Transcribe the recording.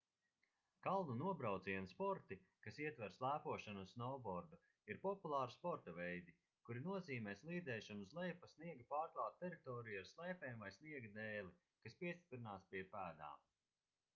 kalnu nobraucienu sporti kas ietver slēpošanu un snovbordu ir populāri sporta veidi kuri nozīmē slīdēšanu uz leju pa sniega pārklātu teritoriju ar slēpēm vai sniega dēli kas piestiprināts pie pēdām